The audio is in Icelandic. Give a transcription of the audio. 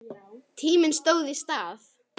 Tíminn stóð í stað.